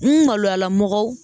N maloyala mɔgɔw